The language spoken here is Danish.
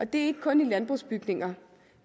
det er ikke kun i landbrugsbygninger